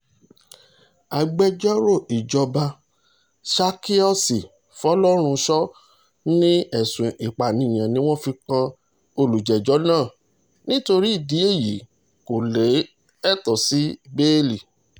agbẹjọ́rò ìjọba zakious folorunsha ní ẹ̀sùn ìpànìyàn ni wọ́n fi kan olùjẹ́jọ́ náà nítorí ìdí èyí kò lẹ́tọ̀ọ́ sí bẹ́ẹ̀lì